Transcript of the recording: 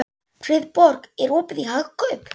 Friðborg, er opið í Hagkaup?